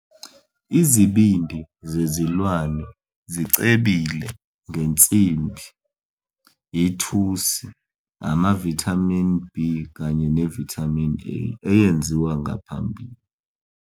Izibindi zezilwane zicebile ngensimbi, ithusi, amavithamini B kanye ne- vitamin A eyenziwe ngaphambili.